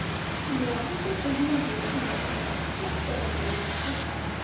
ਇਮਰਾਨ ਤੇ ਉਨ੍ਹਾਂ ਦੇ ਸਮਰਥਕ ਇਸ ਕਦਮ ਨੂੰ ਉ